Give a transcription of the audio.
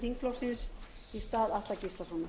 þingflokksins í stað atla gíslasonar